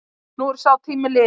Nú er sá tími liðin.